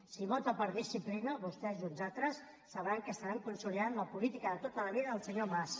si vota per disciplina vostès i uns altres sabran que estan consolidant la política de tota la vida del senyor mas